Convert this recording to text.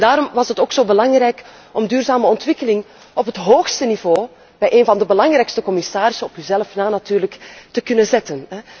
Daarom was het ook zo belangrijk om duurzame ontwikkeling op het hoogste niveau, bij een van de belangrijkste commissarissen op uzelf na natuurlijk te zetten.